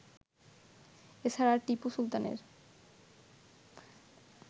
এ ছাড়া টিপু সুলতানের